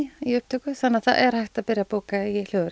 upptökur þannig að það er hægt að byrja að bóka í hljóðverið